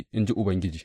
in ji Ubangiji.